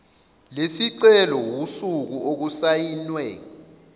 lesicelo usuku okusayinwe